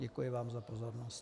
Děkuji vám za pozornost.